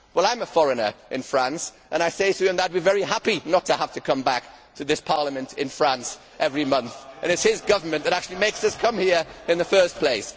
Well I am a foreigner in France and I say to him that I would be very happy not to have to come back to this Parliament in France every month and it is his government that actually makes us come here in the first place.